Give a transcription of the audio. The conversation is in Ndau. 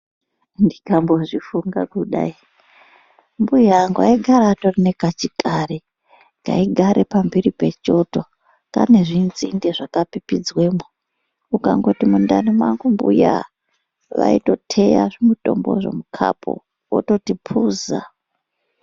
Ndikambozvifunga kudayi mbuya angu aigare atori nekachikari kaigare pamhiri pechoto kane zvinzinde zvakapipidzwemwo. Ukangoti mundani mwangu mbuya, vaitoteya zvimutombozvo mukhapu vototi puza.